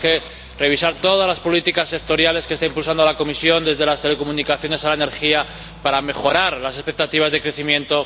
Tenemos que revisar todas las políticas sectoriales que está impulsando la Comisión, desde las telecomunicaciones a la energía, para mejorar las expectativas de crecimiento.